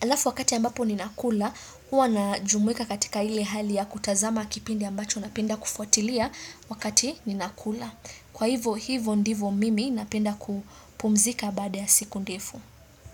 alafu wakati ambapo ninakula huwa na jumuika katika ile hali ya kutazama kipindi ambacho napenda kufuatilia wakati ninakula kwa hivo hivo ndivo mimi napenda kupumzika badaa ya siku ndefu.